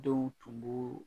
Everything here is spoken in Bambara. Denw tun b'o